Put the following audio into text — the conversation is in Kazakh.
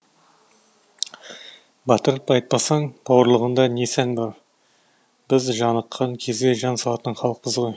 батырып айтпасаң бауырлығыңда не сән бар біз жаныққан кезде жан салатын халықпыз ғой